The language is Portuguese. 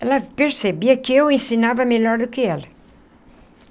Ela percebia que eu ensinava melhor do que ela.